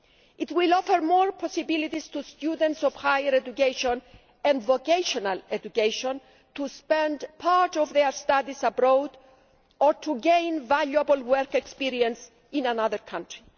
It will offer more possibilities to students of higher education and vocational education to spend part of their studies abroad or to gain valuable work experience in another country.